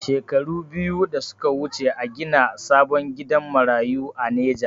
Shekaru biyu da suka wuce a gina sabon gidan marayu a neja